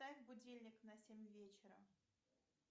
поставь будильник на семь вечера